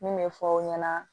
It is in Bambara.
Min bɛ fɔ aw ɲɛna